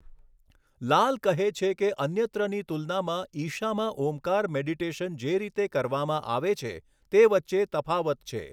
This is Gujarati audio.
લાલ કહે છે કે અન્યત્રની તુલનામાં ઈશામાં ઓમકાર મેડિટેશન જે રીતે કરવામાં આવે છે તે વચ્ચે તફાવત છે.